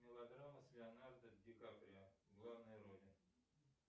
мелодрама с леонардо ди каприо в главной роли